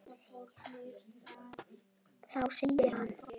Þá segir hann